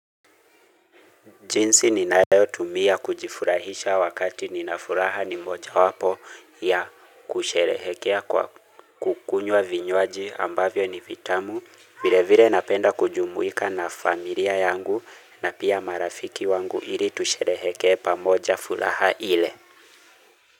Jinsi ninayo tumia kujifurahisha wakati ninafuraha ni moja wapo ya kusherehekea kukunyua vinywaji ambavyo ni vitamu vile vile napenda kujumuika na familia yangu na pia marafiki wangu ili tushereheke pamoja furaha ile.